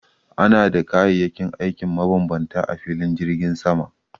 Ana da kayayyakin aikin mabambanta a filin jirgin sama